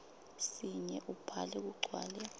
sinye ubhale kugcwale